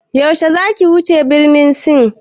Yaushe zaki wuce birnin Sin?